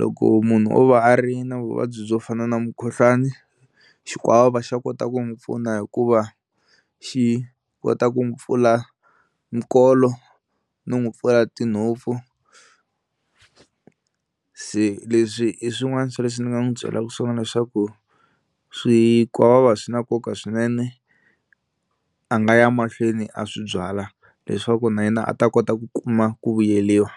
loko munhu o va a ri na vuvabyi byo fana na mukhuhlwani xikwavava xa kota ku n'wi pfuna hikuva xi kota ku n'wi pfula nkolo no n'wi pfula tinhompfu. Se leswi i swin'wana swa leswi ni nga n'wi byelaku swona leswaku swikwavava swi na nkoka swinene a nga ya mahlweni a swi byala leswaku na yena a ta kota ku kuma ku vuyeriwa.